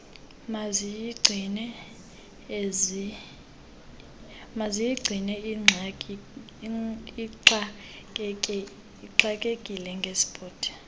mayizigcine ixakekile ngesport